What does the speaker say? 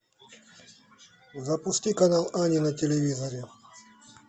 запусти канал ани на телевизоре